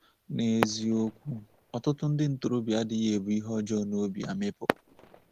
N’eziokwu, ọtụtụ ndị ntorobịa adịghị ebu ihe ọjọọ n’obi amịpụ.